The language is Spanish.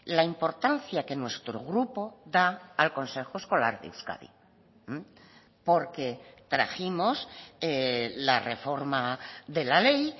la importancia que nuestro grupo da al consejo escolar de euskadi porque trajimos la reforma de la ley